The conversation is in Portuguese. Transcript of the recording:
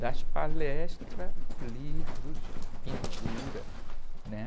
Das palestras, livros, pintura, né?